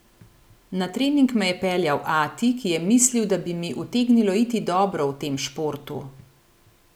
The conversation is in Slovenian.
Na trening me je peljal ati, ki je mislil, da bi mi utegnilo iti dobro v tem športu.